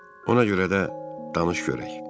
Ona görə də danış görək.